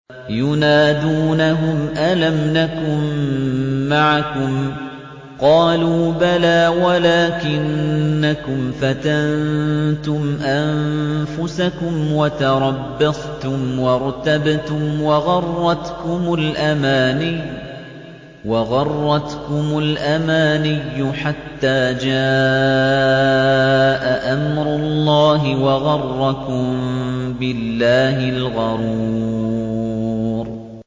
يُنَادُونَهُمْ أَلَمْ نَكُن مَّعَكُمْ ۖ قَالُوا بَلَىٰ وَلَٰكِنَّكُمْ فَتَنتُمْ أَنفُسَكُمْ وَتَرَبَّصْتُمْ وَارْتَبْتُمْ وَغَرَّتْكُمُ الْأَمَانِيُّ حَتَّىٰ جَاءَ أَمْرُ اللَّهِ وَغَرَّكُم بِاللَّهِ الْغَرُورُ